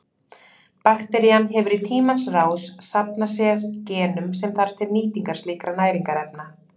Bakterían hefur í tímans rás safnað sér genum sem þarf til nýtingar slíkra næringarefna.